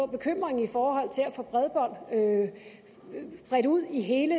bekymringen i forhold til at få bredbånd bredt ud i hele